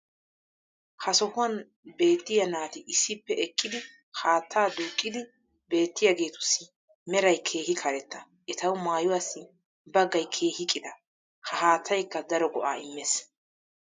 ha sohuwan beettiya naati issippe eqqidi haattaa duuqiidi beettiyaageetussi meray keehi karetta. etawu maayuwassi baggay keehi qita. ha haattaykka daro go'aa immees.